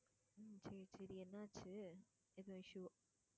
ஹம் சரி சரி என்னாச்சு என்ன விஷயம்?